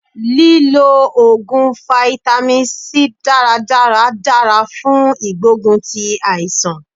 Lí lo Ògùn fáítámì C dáradára dára fún ìgbógun ti àìsàn.